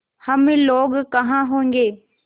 हम लोग कहाँ होंगे